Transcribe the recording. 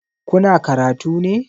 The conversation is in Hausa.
Kuna karatu ne?